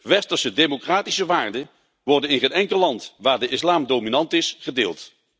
Westerse democratische waarden worden in geen enkel land waar de islam dominant is gedeeld.